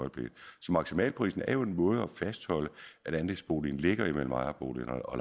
øjeblikket så maksimalprisen er jo en måde at fastholde at andelsboligen ligger imellem ejerboligen og